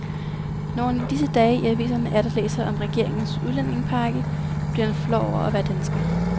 Når han i disse dage i aviserne atter læser om regeringens udlændingepakke, bliver han flov over at være dansker.